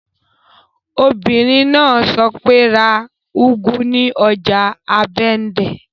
Obìnrin náà sọ pé, 'ra úgú ní ọjà ọbándẹ́!